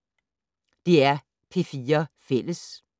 DR P4 Fælles